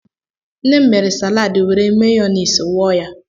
Nne m mere salaadị were meyoneezi wụọ ya.